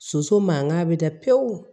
Soso mankan bɛ da pewu